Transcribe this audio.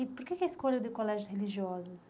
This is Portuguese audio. E por que que a escolha de colégios religiosos?